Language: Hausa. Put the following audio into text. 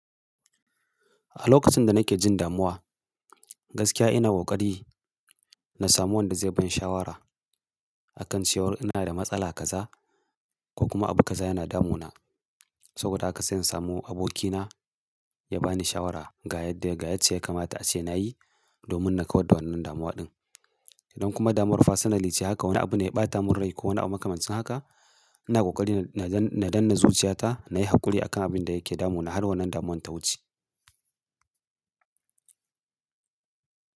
A lokacin da nake jin damuwa, gaskiya ina ƙoƙari na samu wanda zai bani shawara a kan cewa ina da matsala kaza ko kuma abu kaza yana damuna. Saboda haka sai in samu abokina ya bani shawara ga yadda yacce kamata a ce na yi domin na kawar da wannan damuwa din. Idan kuma damuwar fasali ce haka wani abu ne ya ɓata min rai ko wani abu makamancin haka, ina ƙoƙari na danna zuciyata na yi haƙuri akan abin da yake damun na har wannan damun ta wuce.